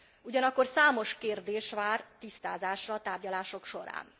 Ugyanakkor számos kérdés vár tisztázásra a tárgyalások során.